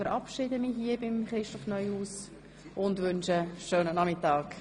Ich verabschiede Herrn Regierungsrat Neuhaus und wünsche ihm einen schönen Nachmittag.